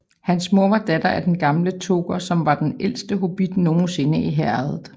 Hans mor var datter af Den Gamle Toker som var den ældste hobbit nogensinde i Herredet